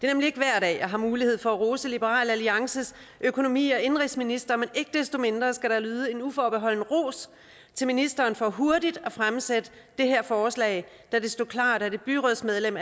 nemlig ikke hver dag jeg har mulighed for at rose liberal alliances økonomi og indenrigsminister men ikke desto mindre skal der lyde en uforbeholden ros til ministeren for hurtigt at fremsætte det her forslag da det stod klart at et byrådsmedlem